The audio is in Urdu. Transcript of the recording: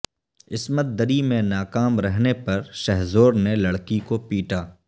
عصمت دری میں ناکام رہنے پر شہ زور نے لڑکی کو پیٹا